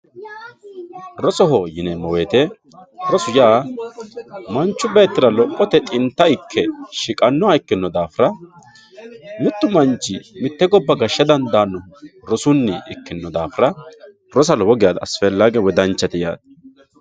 Rosoho yineemo woyite rosu yaa manchu beettira lophote xinta ikke shiqanoha ikkino daafira mitu manchi mite gobba gaasha dandanohu rosunni ikkino dafirra rosa lowo geya asifellage woyi danchate yaate